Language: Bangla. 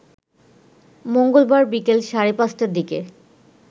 মঙ্গলবার বিকেল সাড়ে পাঁচটার দিকে